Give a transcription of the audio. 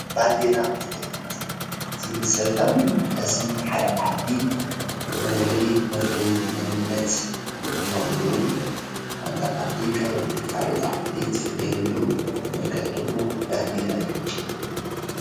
ባነዴራ ማለት እቲ ብመሰረታውን ኣገዳስን ንሓደ ዓዲ መለለይ መፍለይ መንነት እንትኸውን ሓንቲ ዓዲ ካብ ኻልኦት ዓዲ እንትፍለየሉ መልክዕ ደሞ ባንዴራ እዩ፡፡